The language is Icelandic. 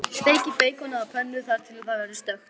Steikið beikonið á pönnu þar til það verður stökkt.